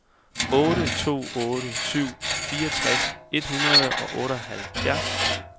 otte to otte syv fireogtres et hundrede og otteoghalvfjerds